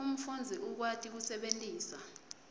umfundzi ukwati kusebentisa